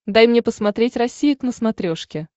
дай мне посмотреть россия к на смотрешке